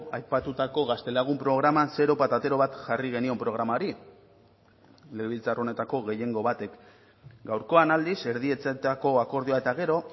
aipatutako gaztelagun programan zero patatero bat jarri genion programari legebiltzar honetako gehiengo batek gaurkoan aldiz erdietsitako akordioa eta gero